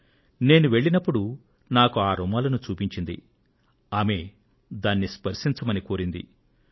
నేను వెళ్ళినపుడు నాకు ఆ రుమాలును చూపించి దానిని స్పర్శించవలసిందిగా ఆమె కోరారు